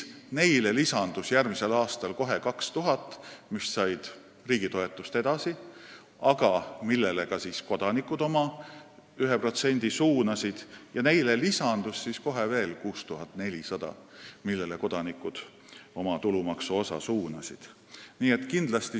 Neile lisandus järgmisel aastal 2000, kes said riigi toetust edasi, aga kellele ka kodanikud oma 1% suunasid, ja kohe lisandus veel 6400, kellele kodanikud oma tulumaksuosa suunasid.